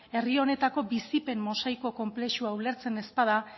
herri honetako bizipen mosaiko konplexua ulertzen ez bada